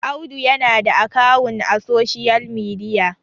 Audu yana da akawun a social media